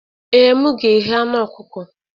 Ee, m ga-eghe anụ ọkụkọ.